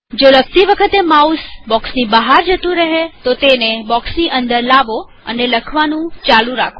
જો લખતી વખતે માઉસ બોક્ષની બહાર જતું રહે તો તેને બોક્ષની અંદર લાવો અને લખવાનું ચાલુ રાખો